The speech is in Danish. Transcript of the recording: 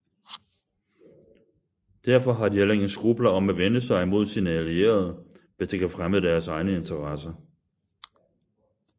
Derfor har de heller ingen skrupler om at vende sig imod sine allierede hvis det kan fremme deres egne interesser